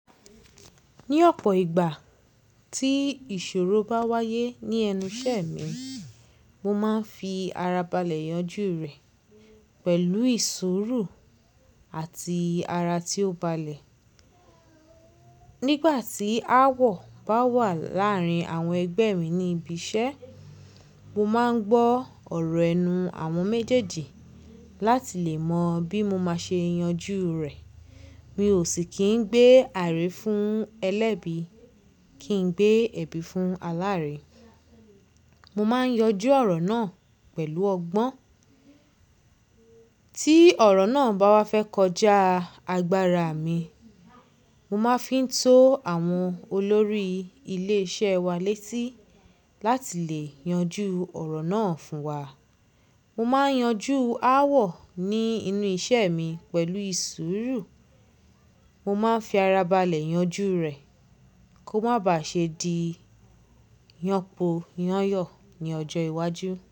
Ní ọ̀pọ̀ ìgbà tí ìṣòro bá wáyé ní ẹnu iṣẹ́ mi, mo máa ń fi ara balẹ̀ yanjú rẹ̀ pẹ̀lú ìṣuru àti ara tí ó balẹ̀. Nígbà tí ááwọ̀ bá wà láàárín àwọn ẹgbẹ́ mi ní ibi iṣẹ́, mo máa ń gbọ́ ọ̀rọ̀ ẹnu àwọn méjèèjì láti lè mọ bí mo ṣe máa yanjú rẹ̀. Mi ò sì kí ń gbé àárẹ̀ fún ẹlẹ́bi, kí n gbé ẹ̀bi fún aláárẹ̀. Mo máa ń yanjú ọ̀rọ̀ náà pẹ̀lú ọgbọ́n. Tí ọ̀rọ̀ náà bá wá fẹ́ kọjá agbára mi, mo máa ń fi tó àwọn olórí ilé iṣẹ́ wa létí láti lè yanjú ọ̀rọ̀ náà fún wa. Mo máa ń yanjú ááwọ̀ ní inú iṣẹ́ mi pẹ̀lú ìṣòro. Mo máa ń fi ara balẹ̀ yanjú rẹ̀ kó má ba ṣe di yanpo yanyọ̀ ní ọjọ́ iwájú.